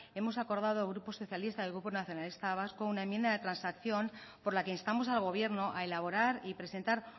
hemos acordado el grupo socialista y el grupo nacionalista vasco una enmienda de transacción por la que instamos al gobierno a elaborar y presentar